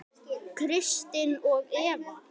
Kristin og Eva.